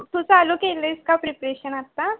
तू चालू केलयस का prepretion आता?